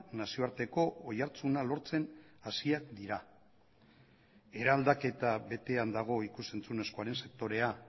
nazioarteko oihartzuna lortzen hasiak dira eraldaketa betean dago ikus entzunezkoaren sektorea